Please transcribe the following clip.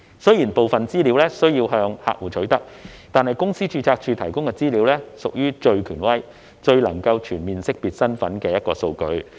雖然部分資料需要向客戶取得，但公司註冊處提供的資料卻屬於最權威、最能全面識別身份的數據。